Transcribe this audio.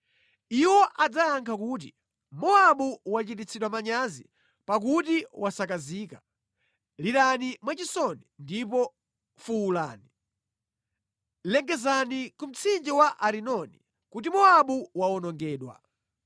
Iwo adzayankha kuti, “Mowabu wachititsidwa manyazi, pakuti wasakazika. Lirani mwachisoni ndipo fuwulani! Lengezani ku mtsinje wa Arinoni kuti Mowabu wawonongedwa.